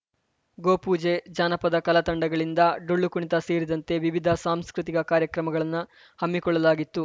ಗೋ ಪೂಜೆ ಜಾನಪದ ಕಲಾ ತಂಡಗಳಿಂದ ಡೊಳ್ಳುಕುಣಿತ ಸೇರಿದಂತೆ ವಿವಿಧ ಸಾಂಸ್ಕೃತಿಕ ಕಾರ್ಯಕ್ರಮಗಳನ್ನ ಹಮ್ಮಿಕೊಳ್ಳಲಾಗಿತ್ತು